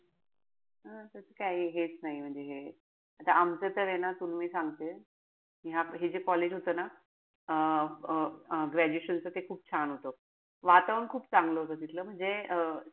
हा त काई हेच नाई म्हणजे हे. आता आमचं तर हे ना तुला मी सांगते. हे हे जे college होत ना. अं graduation च ते खूप छान होत. वातावरण खूप चांगलं होत तिथलं. म्हणजे अं